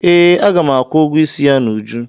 Ee, a ga m akwụ ụgwọ isi ya n'uju